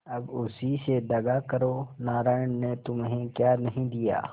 अब उसी से दगा करो नारायण ने तुम्हें क्या नहीं दिया